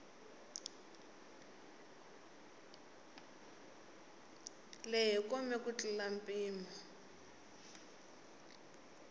lehe kome ku tlula mpimo